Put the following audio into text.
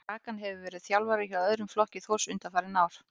Dragan hefur verið þjálfari hjá öðrum flokki Þórs undanfarin ár.